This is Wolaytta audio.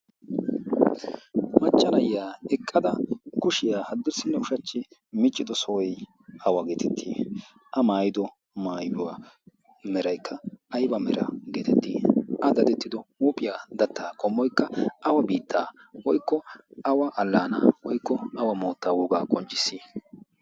machcanayya eqqada kushiyaa haddurssinne ushachchi miccido sohoy awa geetettii? a maayido maayuwaa meraykka ayba mera geetettii? a dadettido huuphiyaa dattaa kommoikka awa biittaa woykko awa allaana woykko awa moottaa woogaa qonccisii?